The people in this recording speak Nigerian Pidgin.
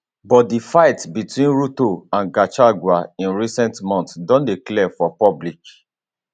but di fight between ruto and gachagua in recent months don dey clear for public